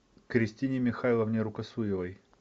кристине михайловне рукосуевой